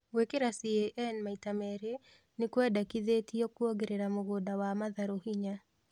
Gwĩkĩra CAN maita melĩ ni kwendekithĩtio kuongerera mũgũnda wa matharũ hinya